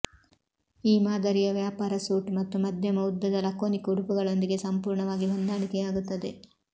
ಈ ಮಾದರಿಯು ವ್ಯಾಪಾರ ಸೂಟ್ ಮತ್ತು ಮಧ್ಯಮ ಉದ್ದದ ಲಕೋನಿಕ್ ಉಡುಪುಗಳೊಂದಿಗೆ ಸಂಪೂರ್ಣವಾಗಿ ಹೊಂದಾಣಿಕೆಯಾಗುತ್ತದೆ